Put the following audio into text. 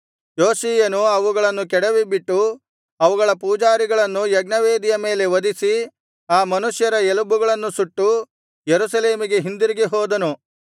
ಯೋಷೀಯನು ಅವುಗಳನ್ನು ಕೆಡವಿಬಿಟ್ಟು ಅವುಗಳ ಪೂಜಾರಿಗಳನ್ನು ಯಜ್ಞವೇದಿಯ ಮೇಲೆ ವಧಿಸಿ ಆ ಮನುಷ್ಯರ ಎಲುಬುಗಳನ್ನು ಸುಟ್ಟು ಯೆರೂಸಲೇಮಿಗೆ ಹಿಂದಿರುಗಿ ಹೋದನು